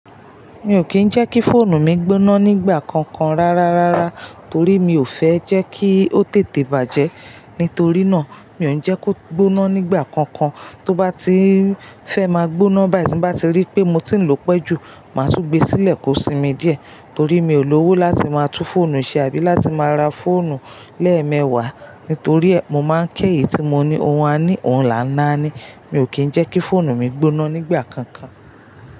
Mi ò kí ń jẹ́ kí fóònù mi gbóná nígbà kankan rárárárá torí mi ò fẹ́ jẹ́ kí ó tètè bàjẹ́. Nítorí náà, mi ò ń jẹ́ kó gbóná nígbà kankan, tó bá ti fẹ́ máa gbóná báyìí tí ń bá ti rí pé mo ti ń lò ó pẹ́ jù, màá tún gbé e sílẹ̀ kó sinmi díẹ̀ torí mi ò lówó láti máa tún fóònù ṣe àbí láti máa ra fóònù lẹ́ẹ̀mẹwàá. Nítorí ẹ, mo máa ń kẹ́ eyì tí mo ní ohun a ní, ohun là ń á ní. Mi ò kí ń jẹ́ kí fóònù mi gbóná nígbà kankan.